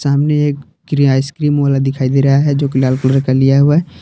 सामने एक आइसक्रीम वाला दिखाई दे रहा है जो की लाल कलर का लिया हुआ है।